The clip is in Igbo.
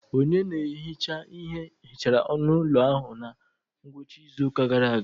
Onye na-ehicha ihe hichara onu ụlọ ahụ na ngwụcha izu ụka gara aga.